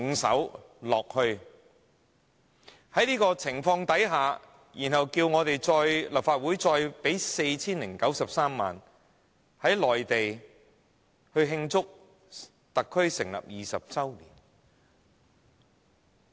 在這種情況下，他們竟要求立法會撥款 4,093 萬元，在內地慶祝特區政府成立20周年。